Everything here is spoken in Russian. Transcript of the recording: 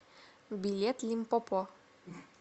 билет лимпопо